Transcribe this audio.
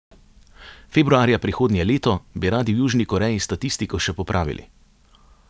Februarja prihodnje leto bi radi v Južni Koreji statistiko še popravili.